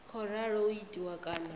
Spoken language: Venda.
khou ralo u itiwa kana